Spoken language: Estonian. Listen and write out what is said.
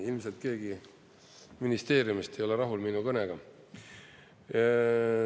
Ilmselt keegi ministeeriumist ei ole rahul minu kõnega.